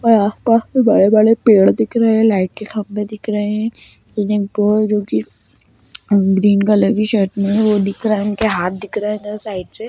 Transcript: और आसपास कोई बड़े-बड़े पेड़ दिख रहें हैं लाइट के खम्भे दिख रहें हैं जो की ग्रीन कलर की शर्ट में हैं वह दिख रहा है उनके हाथ दिख रहें हैं साइड से।